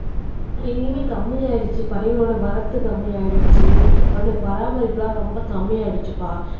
எங்கேயுமே கம்மியாயிடுச்சு பறவைகளோட வரத்து கம்மியாயிடுச்சு அதனுடைய பராமரிப்பு எல்லாம் ரொம்ப கம்மி ஆயிடுச்சுப்பா